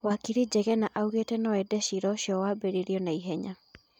Wakiri Njegena augete nũ ende cira ũcio wambĩrĩrio naihenya